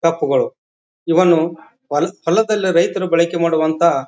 ಕಪ್ಪುಗಳು ಇವನು ಹೊಲದಲ್ಲಿ ರೈತರು ಬಾಳಕೆ ಮಾಡುವಂತಹ--